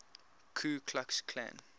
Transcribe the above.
ku klux klan